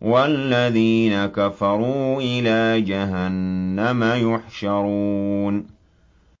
وَالَّذِينَ كَفَرُوا إِلَىٰ جَهَنَّمَ يُحْشَرُونَ